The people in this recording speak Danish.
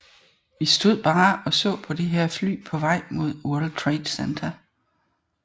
Vi stod bare og så på det her fly på vej mod World Trade Center